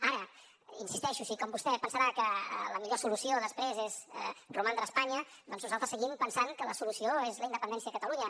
ara hi insisteixo així com vostè pensarà que la millor solució després és romandre a espanya doncs nosaltres seguim pensant que la solució és la independència de catalunya